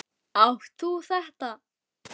Átt þú þetta?